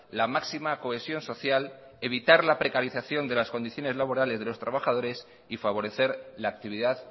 la máxima cohesión social evitar la precarización de las condiciones laborales de los trabajadores y favorecer la actividad